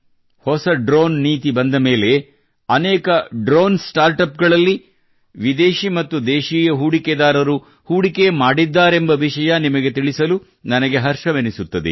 ಹೊಸ ಡ್ರೋನ್ ನೀತಿ ಬಂದಮೇಲೆ ಅನೇಕ ಡ್ರೋನ್ ಸ್ಟಾರ್ಟಪ್ಸ್ ಗಳಲ್ಲಿ ವಿದೇಶೀ ಮತ್ತು ದೇಶೀಯ ಹೂಡಿಕೆದಾರರು ಹೂಡಿಕೆ ಮಾಡಿದ್ದಾರೆಂಬ ವಿಷಯ ನಿಮಗೆ ತಿಳಿಸಲು ನನಗೆ ಹರ್ಷವೆನಿಸುತ್ತದೆ